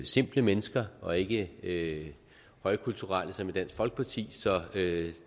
simple mennesker og ikke ikke højkulturelle som i dansk folkeparti så